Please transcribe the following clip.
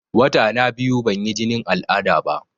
Wata na biyu ban yi jinin al'ada ba